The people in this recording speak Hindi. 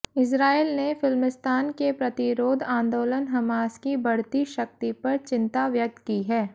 इस्राईल ने फ़िलिस्तीन के प्रतिरोध आन्दोलन हमास की बढ़ती शक्ति पर चिंता व्यक्त की है